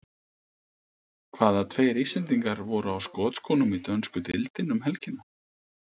Hvaða tveir Íslendingar voru á skotskónum í dönsku deildinni um helgina?